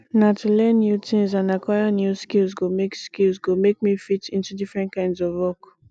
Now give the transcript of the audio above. na to learn new tings and aquire new skills go make skills go make me fit into different kinds of work